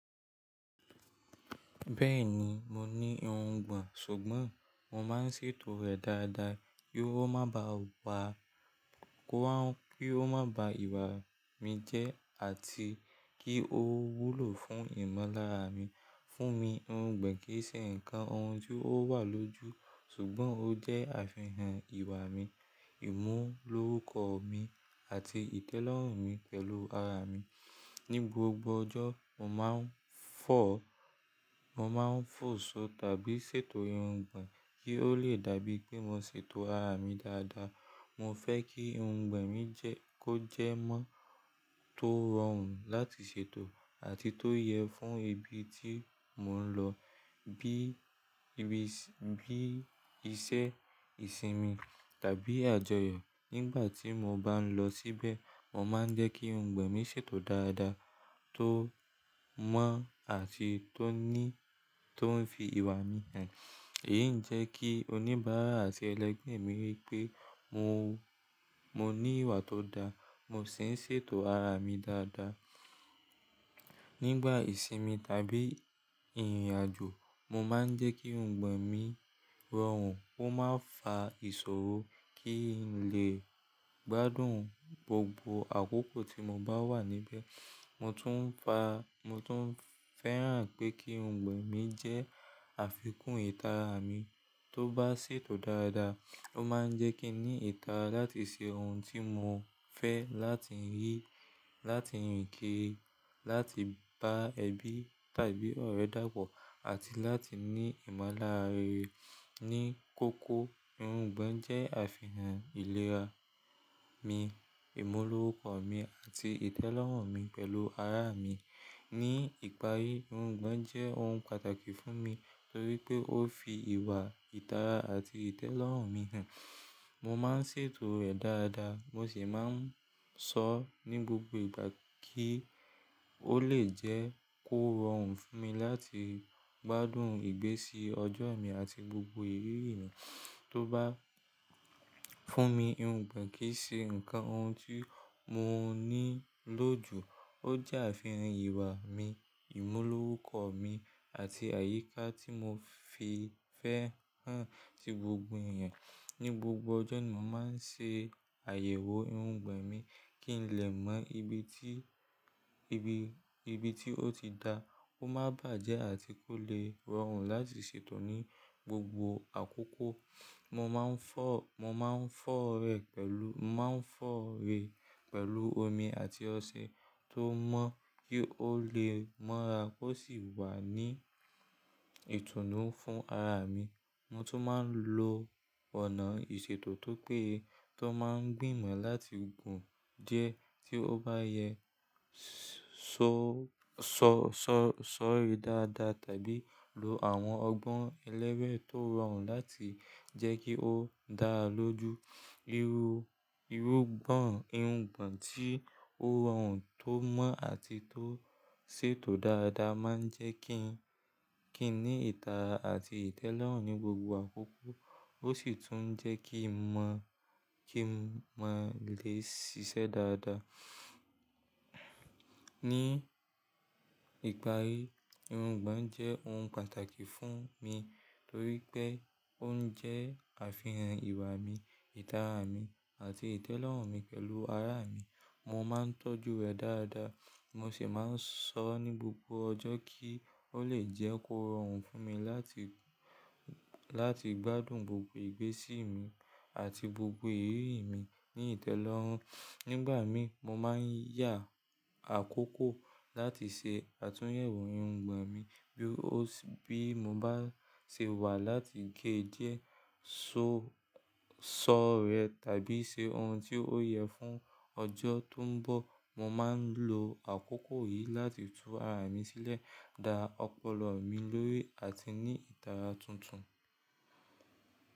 Bẹ́ẹ̀ni, mo ní irungbọ̀n, ṣùgbọ́n mo máa ń ṣètò rẹ̀ dáadáa kí ó má ba wá, kó má, kí ó má ba ìwà mi jẹ́ àti kí ó wúlò fún ìmọ̀lára mi. Fún mi, irungbọ̀n kì í ṣe ǹkan ohun tí ó wà lójú, ṣùgbọ́n ó jẹ́ àfihàn ìwà mi, ìmúlò orúkọ mi àti ìtẹ́lọ́rùn mi pẹ̀lú ara mi. Ni gbogbo ọjọ́, mo máa ń fọ̀, mo máa ń fò ṣó tàbí ṣètò irungbọ̀n kí ó le dàbí pé mo ṣètò ara mi dáadáa. Mo fẹ́ kí irungbọ̀n mi jẹ́ kó jẹ́ mọ́ tó rọrùn láti ṣètò àti tó yẹ fún ibi tí mò ń lọ, bí ibi ṣé, bí iṣẹ́, ìsinmi tàbí àjọyọ̀. Nígbà tí mo bá ń lọ síbẹ̀, mo máa ń jẹ́ kí irungbọ̀n mi ṣètò dáadáa, tó mọ́ àti tó ní, tó ń fi ìwà mi hàn. Èyí ń jẹ́ kí oníbàárà àti ẹlẹ́gbẹ̀ẹ́ mi rí pé mo, mo ní ìwà tó da. Mo sì ń ṣètò ara mi dáadáa. Nígbà ìsinmi tàbí ìrìnàjò, mo máa ń jẹ́ kí irungbọ̀n mi rọrùn, ó máa fa ìṣòro kí n lè gbádùn gbogbo àkókò tí mo bá wà níbẹ̀. Mo tún ń fa, mo tún ń fẹ́ràn pé kí irungbọ̀n mi jẹ́ àfikún ìtara mi. Tó bá ṣètò dáadáa, ó máa ń jẹ́ kí n ní ìtara láti ṣe ohun tí mo fẹ́ láti yí, láti rìn kiri, láti bá ẹbí tàbí ọ̀rẹ́ dàpọ̀ àti láti ní ìmọ̀lára rere. Ni kókó, irungbọ̀n jẹ́ àfihàn ìlera mi, ìmúlò orúkọ mi àti ìtẹ́lọ́rùn mi pẹ̀lú ara mi. Ni ìparí, irungbọ̀n jẹ́ ohun pàtàkì fún mi torí pé ó fi ìwà, ìtara àti ìtẹ́lọ́rùn mi hàn. Mo máa ń ṣètò rẹ̀ dáadáa, mo sì máa ń sọ ọ́ ní gbogbo ìgbà kí ó lè jẹ́ kó rọrùn fún mi láti gbádùn ìgbésí ọjọ mi àti gbogbo ìrírí mi. Tó bá fún mi, irungbọ̀n kì í ṣe ǹkan ohun tí mo ní lò jú. Ó jẹ́ àfihàn ìwà mi, ìmúlò orúkọ mi àti àyíká tí mo fi fẹ́ hàn ti gbogbo ẹ̀yàn. Ni gbogbo ọjọ́ ni mo máa ń ṣe àyẹ̀wò irungbọ̀n mi kí n lè mọ ibi tí, ibi, ibi tí ó ti dà, kó má bàjẹ́ àti kó lè rọrùn láti ṣètò ní gbogbo àkókò. Mo máa ń fọ, mo máa ń fọ rẹ̀ pẹ̀lú, mo máa ń fọ ré pẹ̀lú omi àti ọṣẹ tó mọ́ kí ó lè mọ́ra kó sì wà ní ìtùnú fún ara mi. Mo tún máa ń lo ọ̀nà ìṣètò tó péye tó máa ń gbìmọ̀ láti gùn díẹ̀ tí ó bá yẹ, ṣọ, ṣọ, ṣọ, sọ rẹ̀ dáadáa tàbí lo àwọn ọgbọ́n ẹlẹ́wẹ̀ẹ́ tó rọrùn láti jẹ́ kí ó dára lójú. Irú, irú gbọ̀n, irungbọ̀n tí ó rọrùn tó mọ́ àti tó ṣètò dáadáa máa ń jẹ́ kí n, kí n ní ìtara àti ìtẹ́lọ́rùn ní gbogbo àkókò. Ó sì tún ń jẹ́ kí n mọ̀, kí mọ lè ṣiṣẹ́ dáadáa. Ni ìparí, irungbọ̀n jẹ́ ohun pàtàkì fún mi torí pé ó ń jẹ́ àfihàn ìwà mi, ìtara mi àti ìtẹ́lọ́rùn mi pẹ̀lú ara mi. Mo máa ń tọ́jú rẹ̀ dáadáa, mo sì máa ń sọ ọ́ ní gbogbo ọjọ́ kí ó lè jẹ́ kó rọrùn fún mi láti, láti gbádùn gbogbo ìgbésí mi àti gbogbo èrè mi ní ìtẹ́lọ́rùn. Nígbà mí, mo máa ń yá àkókò láti ṣe àtúnyẹ̀wò irungbọ̀n mi bí ó sì, bí mo bá ṣe wà láti gé díẹ̀, sọ, sọ rẹ̀ tàbí ṣe ohun tí ó yẹ fún ọjọ́ tó ń bọ̀. Mo máa ń lo àkókò yìí láti tú ara mi sílẹ̀, da ọpọlọ mi lórí àti ní ìtara tuntun.